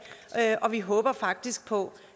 og vi håber faktisk på